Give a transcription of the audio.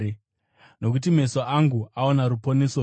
Nokuti meso angu aona ruponeso rwenyu,